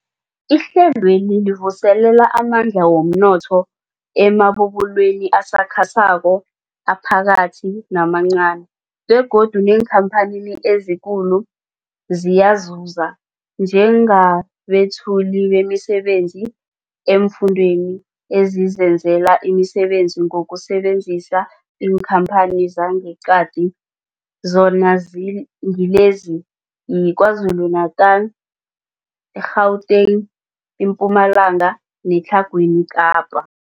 Ihlelweli livuselela amandla womnotho emabubulweni asakhasako, aphakathi namancani begodu neenkhamphani ezikulu ziyazuza njengabethuli bemisebenzi eemfundeni ezizenzela umsebenzi ngokusebenzisa iinkhamphani zangeqadi, zona zi ngilezi, yiKwaZulu-Natala, i-Gauteng, iMpumalanga neTlhagwini Kapa.